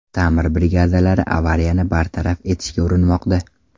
Ta’mir brigadalari avariyani bartaraf etishga urinmoqda.